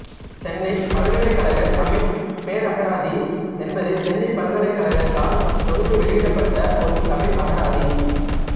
சென்னைப் பல்கலைக்கழக தமிழ்ப் பேரகராதி என்பது சென்னைப் பல்கலைக்கழகத்தால் தொகுத்து வெளியிடப்பட்ட ஒரு தமிழ் அகராதி